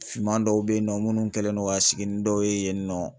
Finman dɔw bɛ yen nɔ minnu kɛlen don ka sigi ni dɔw ye nɔ.